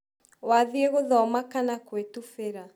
Wathĩĩ gũthoma kana kũitufĩra?